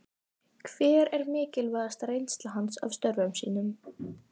Hver er mikilvægasta reynsla hans af störfum sínum?